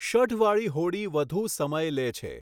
શઢવાળી હોડી વધુ સમય લે છે.